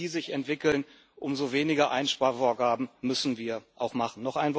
Je besser die sich entwickeln, umso weniger Einsparvorgaben müssen wir auch machen.